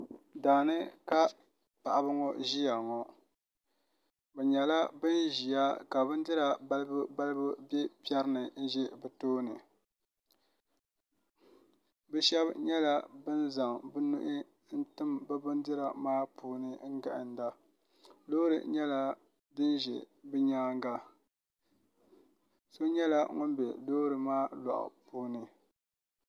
Daani ka paɣaba ŋo ʒiya ŋo bi nyɛla bin ʒila ka bindira balibu balibu bɛ piɛri ni bɛ bi tooni bi shab nyɛla bin zaŋ bi nuhi n tim bi bindira maa puuni n gahanda loori nyɛla din ʒɛ bi nyaanga so nyɛla ŋun bɛ loori maa loɣu puuni